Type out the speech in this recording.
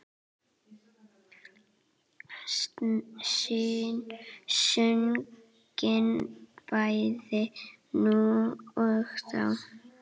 Sungin bæði nú og þá.